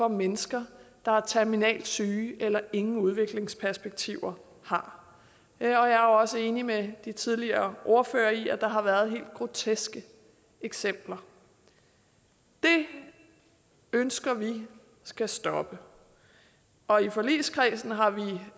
mennesker der er terminalt syge eller ingen udviklingsperspektiver har jeg er jo også enig med de tidligere ordførere i at der har været helt groteske eksempler det ønsker vi skal stoppe og i forligskredsen har vi